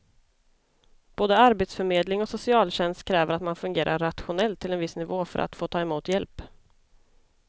Både arbetsförmedling och socialtjänst kräver att man fungerar rationellt till en viss nivå för att få ta emot hjälp.